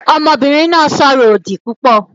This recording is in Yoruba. Ọmọbìnrin náà ń sọ̀rọ̀ òdì púpọ̀